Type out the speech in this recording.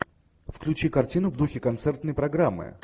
включи картину в духе концертной программы